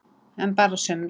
En bara sumra.